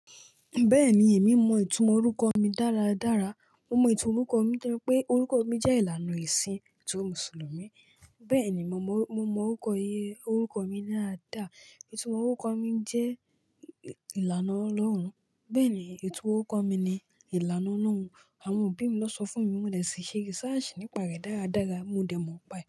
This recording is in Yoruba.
Bẹ́ẹ̀ni, èmi mọ ìtumọ̀ orúkọ mi dáradára. Mo mọ ìtumọ̀ orúkọ mi nitori pé orúkọ mi jẹ́ ìlànà esìn ètò Mùsùlùmí. Bẹ́ẹ̀ni, mo mọ orúkọ mi dáadáa. Ìtumọ̀ orúkọ mi jẹ́ ìlànà ọlọ́run. Bẹ́ẹ̀ni, ètò orúkọ mi ni ìlànà ọlọ́run. Àwọn òbí mi ló sọ fún mi. Mo dẹ̀ si ṣe research nípa rẹ̀ dáradára, mo dẹ̀ mọ̀ n pa ẹ.